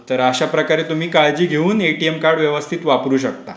तर अशाप्रकारे तुम्ही काळजी घेऊन तुम्ही एटीएम कार्ड व्यवस्थित वापरू शकता.